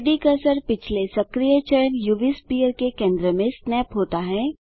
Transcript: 3Dकर्सर पिछले सक्रिय चयन उव स्पेयर के केंद्र में स्नैप होता है